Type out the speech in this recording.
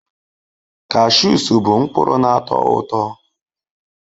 Cashews bụ mkpụrụ na-atọ ụtọ.